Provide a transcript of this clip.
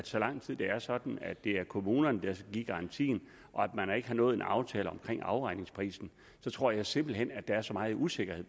så lang tid det er sådan at det er kommunerne der skal give garantien og man ikke har nået en aftale om afregningsprisen tror jeg simpelt hen at der er så meget usikkerhed